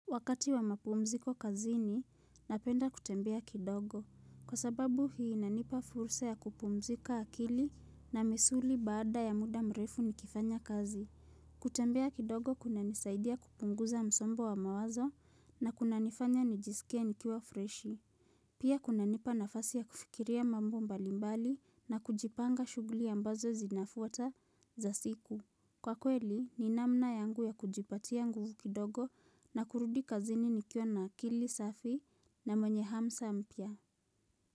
Wakati wa mapumziko kazini, napenda kutembea kidogo. Kwa sababu hii inanipa fursa ya kupumzika akili na misuli baada ya muda mrefu nikifanya kazi. Kutembea kidogo kuna nisaidia kupunguza msongo wa mawazo na kuna nifanya nijisikia nikiwa freshi. Pia kuna nipa nafasi ya kufikiria mambo mbalimbali na kujipanga shughuli ambazo zinafuata za siku. Kwa kweli ni namna yangu ya kujipatia nguvu kidogo na kurudi kazini nikiona akili safi na mwenye hamsa mpia.